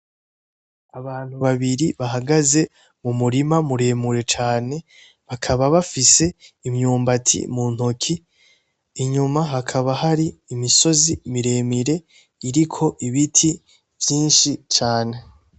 Abantu babiri bahagaze mumurima muremure cane bakaba bifise imyumbati muntoki, inyuma hakaba hari imisozi miremire iriko ibiti vyinshi cane .